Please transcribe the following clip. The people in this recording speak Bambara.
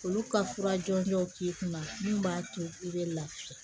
Olu ka fura jɔnjɔnw k'i kunna min b'a to i bɛ lafiya